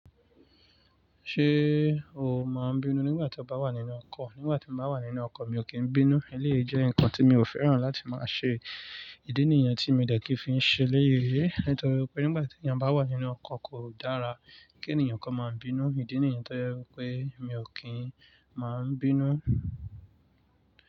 Ṣé o ma bínú nígbà tóbá wà nínú call. Nígbà tí mo bá wà nínú ọkọ̀ mi ò kí ń bínú. Eléyìí jẹ́ nǹkan tí mi ò fẹ́ràn láti máa ṣe. Ìdí nìyẹn tí mo dẹ̀ kí ń fi ṣe eléyìí. Nítorí pé nígbà tí ẹni bá wà nínú ọkọ̀ kò dára kí ènìyàn kan máa ń bínú. Ìdí nìyẹn tó jẹ́ wí pé mi ò kí ń máa ń bínú.